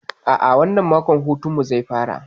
A'a, wannan mako hutun mu zai fara.